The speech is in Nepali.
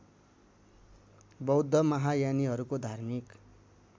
बौद्ध महायानीहरूको धार्मिक